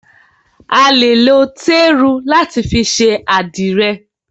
A lè lo téru láti fi ṣe àdìrẹ̀.